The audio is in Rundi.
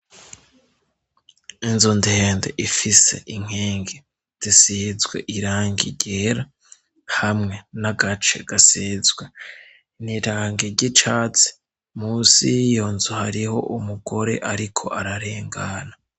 inzu ndende ifise inkengi zisizwe irangi ryera hamwe n'agace gasizwe niranga ry'icatsi munsi yiyonzu hariho umugore ariko ararengana